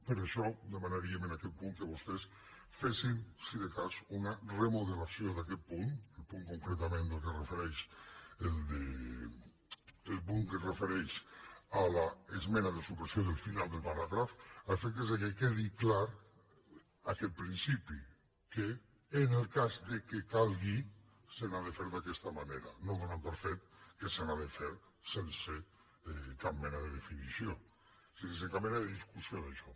per això demanaríem en aquest punt que vostès fessin si de cas una remodelació d’aquest punt el punt que es refereix a l’esmena de supressió del final del paràgraf a efectes que quedi clar aquest principi que en el cas que calgui s’ha de fer d’aquesta manera no donant per fet que s’ha de fer sense cap mena de discussió d’això